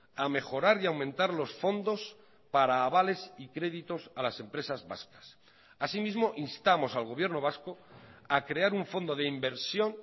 a mejorar y a aumentar los fondos para avales y créditos a las empresas vascas asimismo instamos al gobierno vasco a crear un fondo de inversión